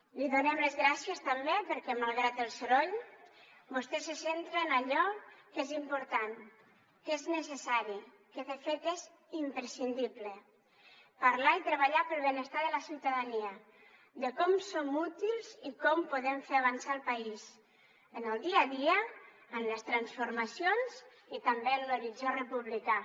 li donem les gràcies també perquè malgrat el soroll vostè se centra en allò que és important que és necessari que de fet és imprescindible parlar i treballar pel benestar de la ciutadania de com som útils i com podem fer avançar el país en el dia a dia en les transformacions i també en un horitzó republicà